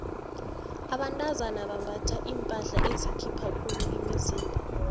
abentazana bambatha iimpahla ezikhipha khulu imizimba